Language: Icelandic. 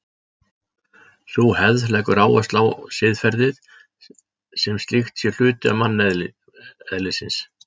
Sú hefð leggur áherslu á að siðferðið sem slíkt sé hluti manneðlisins.